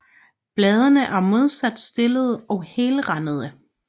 Bladene er modsat stillede og helrandede